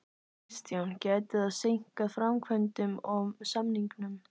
Kristján: Gæti það seinkað framkvæmdum og samningum?